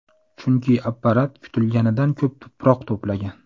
Chunki apparat kutilganidan ko‘p tuproq to‘plagan.